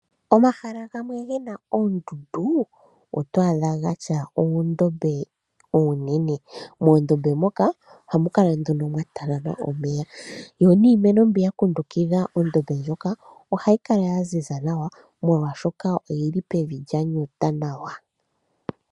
Omahala gamwe ge na oondundu oto adha gatya oondombe oonene. Moondombe moka ohamu kala nduno mwatalama omeya yo niimeno mbi ya kundukidha ondombe ndjoka ohayi kala ya ziza nawa molwaashoka oyili pevi lya nyuta nawa.